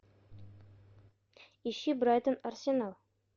ищи брайтон арсенал